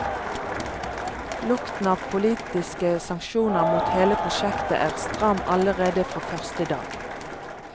Lukten av politiske sanksjoner mot hele prosjektet er stram allerede fra første dag.